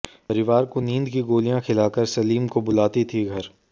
परिवार को नींद की गोलियां खिलाकर सलीम को बुलाती थी घर